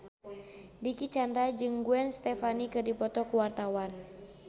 Dicky Chandra jeung Gwen Stefani keur dipoto ku wartawan